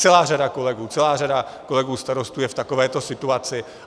Celá řada kolegů, celá řada kolegů starostů je v takovéto situaci.